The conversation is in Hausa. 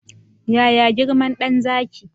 Yaya girman dan Zaki?